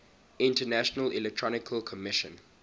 international electrotechnical commission